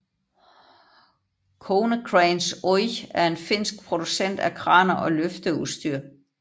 Konecranes Oyj er en finsk producent af kraner og løfteudstyr